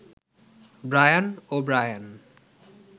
Brian ও Brian